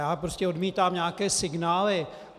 Já prostě odmítám nějaké signály.